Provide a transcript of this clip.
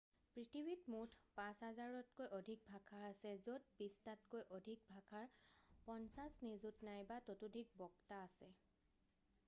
পৃথিৱীত মুঠ 5,000তকৈ অধিক ভাষা আছে য'ত বিশটাতকৈ অধিক ভাষাৰ 50 নিযুত নাইবা ততোধিক বক্তা আছে